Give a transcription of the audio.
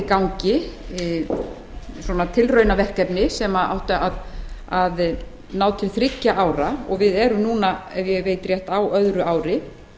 í gangi tilraunaverkefni sem áttu að ná til þriggja ára og við erum núna ef ég veit rétt á öðru ári